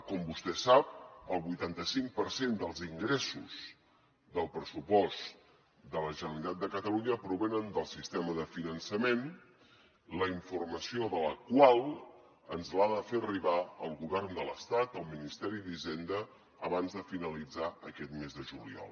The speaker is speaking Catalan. com vostè sap el vuitanta cinc per cent dels ingressos del pressupost de la generalitat de catalunya provenen del sistema de finançament la informació de la qual ens l’ha de fer arribar el govern de l’estat el ministeri d’hisenda abans de finalitzar aquest mes de juliol